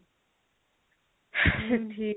ସେଠି